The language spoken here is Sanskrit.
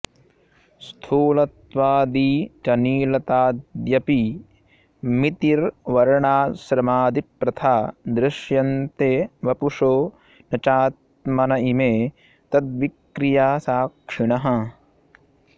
स्थूलत्वादि च नीलताद्यपि मितिर्वर्णाश्रमादिप्रथा दृश्यन्ते वपुषो न चात्मन इमे तद्विक्रियासाक्षिणः